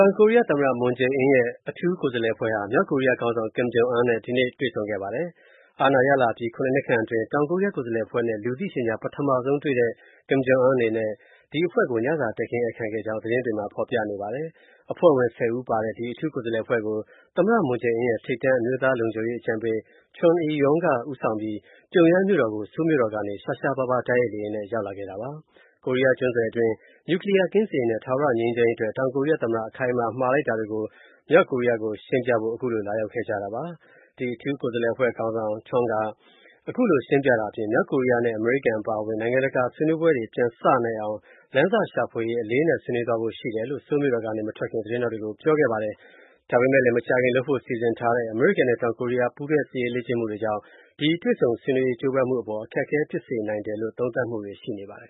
ောင်ကိုရီးယား သမ္မတမွန်ဂျယ်အင်းရဲ့ အထူးကိုယ်စားလှယ်အဖွဲ့ဟာ မြောက်ကိုရီးယားခေါင်းဆောင် ကင်မ်ဂျုံအွန်းနဲ့ ဒီနေ့ တွေ့ဆုံခဲ့ပါတယ်။ အာဏာရလာအပြီး (၇) နှစ်အတွင်း တောင်ကိုရီးယားကိုယ်စားလှယ်အဖွဲ့နဲ့ လူသိရှင်ကြား ပထမဆုံးတွေ့တဲ့ ကင်မ်ဂျုံအွန်း အနေနဲ့ ဒီအဖွဲ့ကို ညစာတည်းခင်းဧည့်ခံခဲ့ကြောင်း သတင်းတွေမှာ ဖော်ပြနေကြပါတယ်။ အဖွဲ့ဝင် ၁၀ ဦးပါတဲ့ ဒီအထူးကိုယ်စားလှယ်အဖွဲ့ကို သမ္မတမွန်ဂျယ်အင်း ရဲ့ ထိပ်တန်း အမျိုးသားလုံခြုံရေး အကြံပေး Chung Eui-Yong က ဦးဆောင်ပြီး ပြုံယမ်းမြို.တော်ကို ဆိုးလ်မြို.တော်ကနေ ရှားရှားပါးပါး တိုက်ရိုက်လေယာဉ်နဲ့ ရောက်လာခဲ့ပါတယ်။ ကိုရီးယားကျွန်းဆွယ်တွင်း နျူကလီးယားကင်းစင်ရေးနဲ့ ထာဝရငြိမ်းချမ်းရေးအတွက် တောင်ကိုရီးယားသမ္မတ အခိုင်အမာ မှာလိုက်တာတွေကို မြောက်ကိုရီးယားကိုရှင်းပြဖို့ ခုလို လာရောက်ခဲ့ကြတာပါ။ အထူးကိုယ်စားလှယ် အဖွဲ့ခေါင်းဆောင် Chung က ခုလို ရှင်းပြတာအပြင်၊ မြောက်ကိုရီးယားနဲ့ အမေရိကန်အပါအဝင် နိုင်ငံတကာနဲ့ ဆွေးနွေးပွဲတွေ ပြန်စနိုင်အောင် လမ်းစရှာဖွေရေး အလေးအနက် ဆွေးနွေးသွားဖို့ရှိတယ်လို့ ဆိုးမြို့တော်ကနေ မထွက်ခင် သတင်းထောက်တွေကို ပြောခဲ့ပါတယ်။ ဒါပေမဲ့လည်း မကြာခင်လုပ်ဖို့ စီစဉ်ထားတဲ့ အမေရိကန်နဲ့တောင်ကိုရီးယား ပူးတွဲစစ်ရေးလေ့ကျင့်မှုတွေကြောင့် ဒီတွေ့ဆုံဆွေးနွေးရေးကြိုးပမ်းမှုအပေါ် အခက်အခဲဖြစ်စေနိုင်တယ်လို့ သုံးသပ်မှုတွေ ရှိနေပါတယ်